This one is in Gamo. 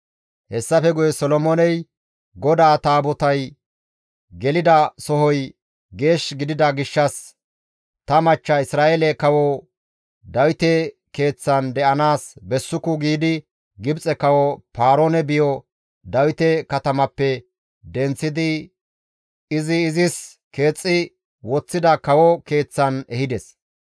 Hessafe guye Solomooney, «GODAA Taabotay gelida sohoy geesh gidida gishshas ta machcha Isra7eele kawo Dawite keeththan de7anaas bessuku» giidi Gibxe kawo Paaroone biyo Dawite katamappe denththidi izi izis keexxi woththida kawo keeththan ehides.